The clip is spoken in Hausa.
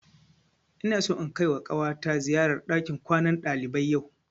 Ina so in kaima ƙawata ziyara ɗakin kwanan ɗalibai yau